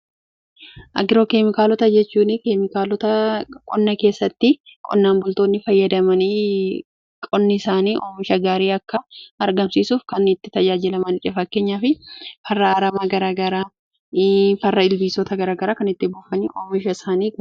Agiroo keemikaalota jechuun keemikaalota qonna keessatti qonnaan bultoonni fayyadamanii qonni isaanii oomisha gaarii akka argamsiisuuf kan itti tajaajilamanidha. Fakkeenyaaf fi farra ilbiisota garaagaraa kan itti buufanii oomisha isaanii oomishanidha.